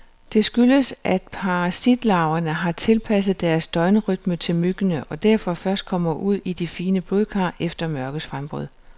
Det skyldes, at parasitlarverne har tilpasset deres døgnrytme til myggene, og derfor først kommer ud i de fine blodkar efter mørkets frembrud.